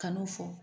Kan'o fɔ